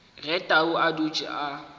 ge tau a dutše a